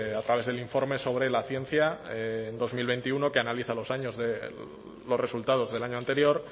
a través del informe sobre la ciencia en dos mil veintiuno que analiza los años de los resultados del año anterior